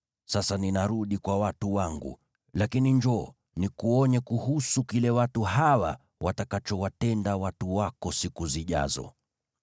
Sasa ninarudi kwa watu wangu. Lakini njoo, nikuonye kuhusu kile watu hawa watakachowatenda watu wako siku zijazo.”